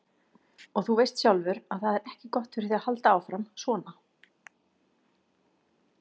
Og þú veist sjálfur að það er ekki gott fyrir þig að halda áfram, svona.